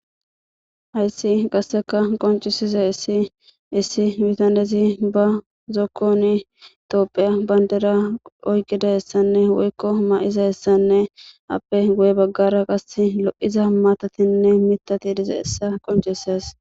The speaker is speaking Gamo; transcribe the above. Hayssi qasseka qoncisize issi issi mitanezi ba zokkon toopheya bayndera oykqida hessanne woykko ma'iza hessanne appe goye baggara qasse lo'iza matatinne mitati diza essa qoncises